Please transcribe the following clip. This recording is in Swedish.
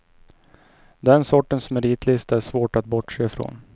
Den sortens meritlista är svår att bortse från.